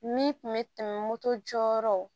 Min kun bɛ tɛmɛ moto jɔyɔrɔ